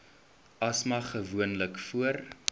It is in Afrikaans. asma gewoonlik voor